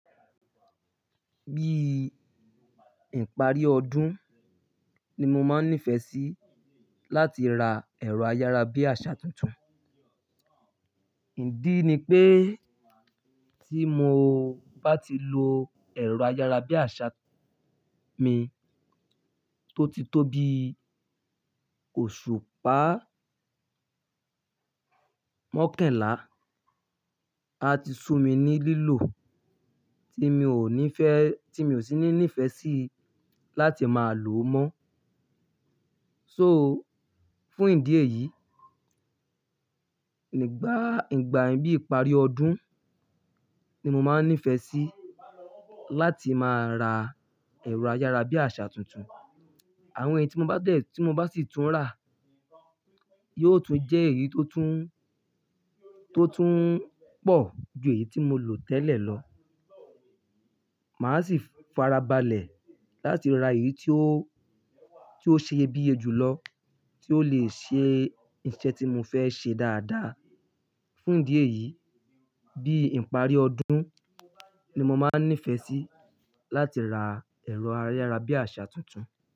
Bí ìparí ọdún ni mo máa ń nífẹ̀ẹ́ sí láti ra ẹ̀rọ ayára bí àṣà tuntun. Ìdí ni pé tí mo bá ti lo ẹ̀rọ ayára bí àṣà mi tó ti tóbi oṣù pá mọ́kànlá, a ti sú mi ní lílò tí mi ò nífẹ́-- tí mi ò sí ní nífẹ̀ẹ́ sí láti máa lòó mọ́. So, fún ìdí èyí, nígbà-ìgbà bí ìparí ọdún ni mo máa ń nífẹ̀ẹ́ sí láti máa ra ẹ̀rọ ayára bí àṣà tuntun. Àwọn ẹyi tí mo bá dẹ̀-- tí mo bá sì tún rà yóò tún jẹ́ èyí tó tún, tó tún pọ̀ ju èyí tí mo lò tẹ́lẹ̀ lọ. Màá sì farabalẹ̀ láti ra èyí tí ó, tí ó ṣe iyebiye jùlọ, tí ó lè ṣe iṣẹ́ tí mo fẹ́ ṣe dáadáa. Fún ìdí èyí, bí ìparí ọdún ni mo máa ń nífẹ̀ẹ́ sí láti ra ẹ̀rọ ayára bí àṣà tuntun.